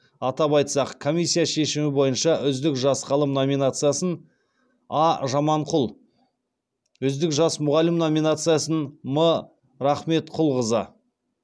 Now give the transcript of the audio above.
атап айтсақ комиссия шешімі бойынша үздік жас ғалым номинациясын а жаманқұл үздік жас мұғалім номинациясын м рахметқұлқызы